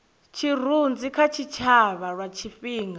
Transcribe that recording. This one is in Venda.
tshirunzi kha tshitshavha lwa tshifhinga